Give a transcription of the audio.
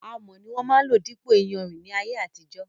Amọ̀ ni wón máa ń lò dípò iyanrìn ní ayé àtijó.